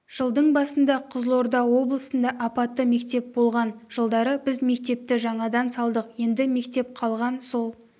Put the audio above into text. жылдың басында қызылорда облысында апатты мектеп болған жылдары біз мектепті жаңадан салдық енді мектеп қалған сол